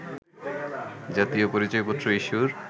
জাতীয় পরিচয়পত্র ইস্যুর